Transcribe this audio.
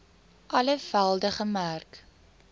alle velde gemerk